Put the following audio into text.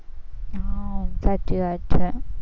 હમ સાચી વાત છે.